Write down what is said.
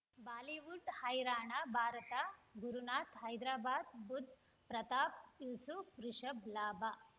Bollywood ಹೈರಾಣ ಭಾರತ ಗುರುನಾಥ ಹೈದರಾಬಾದ್ ಬುಧ್ ಪ್ರತಾಪ್ ಯೂಸುಫ್ ರಿಷಬ್ ಲಾಭ